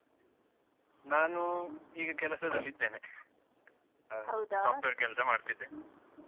ನಾನು ಈಗ ಕೆಲಸದಲ್ಲಿದ್ದೇನೆ software ಕೆಲ್ಸಾ ಮಾಡ್ತಿದ್ದೇನೆ.